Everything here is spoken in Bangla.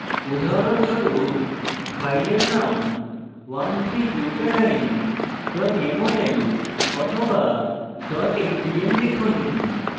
উদাহরণস্বরূপ ফাইলের নাম 13butadiene mol বা mdl লিখুন